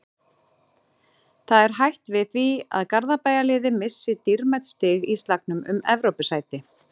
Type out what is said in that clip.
Það er hætt við því að Garðabæjarliðið missi dýrmæt stig í slagnum um Evrópusæti.